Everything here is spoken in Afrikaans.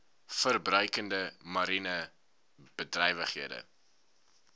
verbruikende mariene bedrywighede